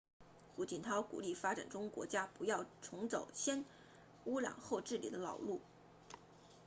胡锦涛鼓励发展中国家不要重走先污染后治理的老路